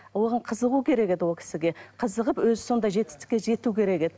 оған қызығу керек еді ол кісіге қызығып өзі сондай жетістікке жету керек еді